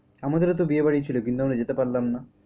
আমাদেরও তো বিয়েবাড়ি ছিল কিন্তু আমরা যেতে পারলাম না।